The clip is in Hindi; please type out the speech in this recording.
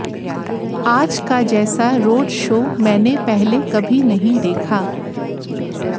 आज का जैसा रोड शो मैंने पहले कभी नही देखा